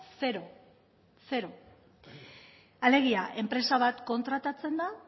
zero zero zero alegia enpresa bat kontratatzen da